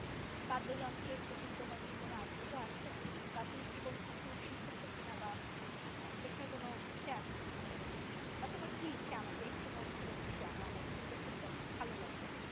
বাদ্যযন্ত্রের প্রতি তোমার কি কোন আগ্রহ আছে বা তুমি কি কোন কিছু শিখেছো কি না? বা আহ শেখার কোন ইচ্ছে আছে কি না পরবর্তীতে বা তোমার কি ইচ্ছে আমাকে একটু মন খুলে তুমি জানাও আমার শুনতে খুব পছন্দ ভালো লাগবে